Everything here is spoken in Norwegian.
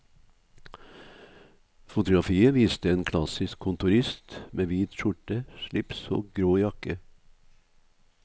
Fotografiet viste en klassisk kontorist med hvit skjorte, slips og grå jakke.